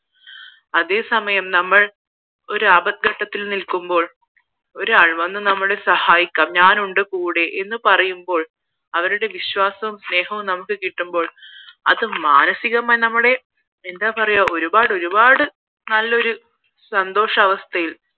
ഒരാൾ വന്ന് സഹായിക്കാൻ ഞാനുണ്ട് കൂടെ എന്ന് പറയുമ്പോൾ അവരുടെ വിശ്വാസവും സ്നേഹവും നമുക്ക് കിട്ടുമ്പോൾ അത് മാനസികമായി നമ്മടെ എന്താ പറയാ ഒരുപാട് ഒരുപാട് നല്ലൊരു സന്തോഷവസ്ഥയിൽ